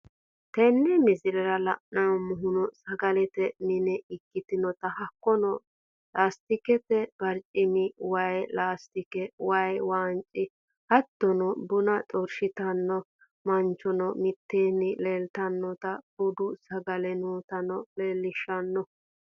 Tenne misilerra lanemmohuno sagalette miine ekkinotana hakkono lastikete barchimmu, wayyi lastikke. wayii wanchii, hattono bunaa xorshittanoo manchonno miiteni leltanottana buudu sagalee nootano lelishanno